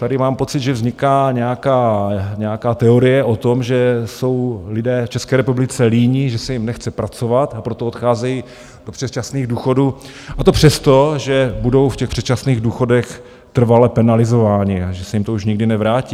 Tady mám pocit, že vzniká nějaká teorie o tom, že jsou lidé v České republice líní, že se jim nechce pracovat, a proto odcházejí do předčasných důchodů, a to přesto, že budou v těch předčasných důchodech trvale penalizováni a že se jim to už nikdy nevrátí.